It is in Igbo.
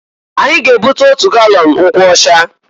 Anyi ga-ebute otu galọn nkwụọcha.